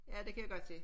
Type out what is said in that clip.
Ja det kan jeg godt se